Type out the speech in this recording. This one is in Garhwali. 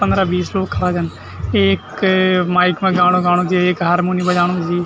पन्द्रा बीस लोग खड़ा छन एक माइक मा गाणा गाणु च एक हार्मोनी बजाणु च।